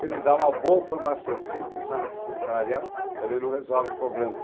Também, dar uma boa formação sem pensar na questão salarial também não resolve o problema.